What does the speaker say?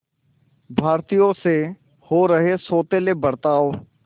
भारतीयों से हो रहे सौतेले बर्ताव